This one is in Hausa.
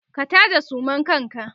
ka taje suman kanka!